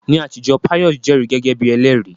Ní àtijọ́, Pius jẹ́rìí gẹ́gẹ́ bí ẹlẹ́rìí.